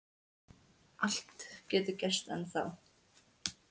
Allt getur gerst ennþá.